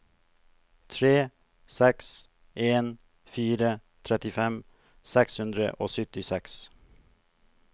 tre seks en fire trettifem seks hundre og syttiseks